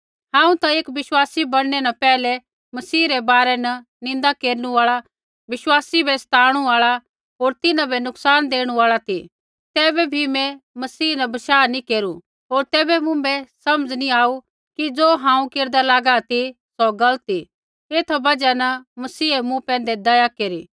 हांऊँ ता एक विश्वासी बणनै न पैहलै मसीह रै बारै न निन्दा केरनु आल़ा विश्वासी बै सताणू आल़ा होर तिन्हां बै नुकसान देणु आल़ा ती तैबै भी मैं मसीह न बशाह नैंई केरू होर तैबै मुँभै समझ़ नैंई आऊ कि ज़ो हांऊँ केरदा लागा ती सौ गलत ती एथा बजहा न मसीहै मूँ पैंधै दया केरी